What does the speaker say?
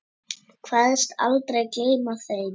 Kveðst aldrei gleyma þeim.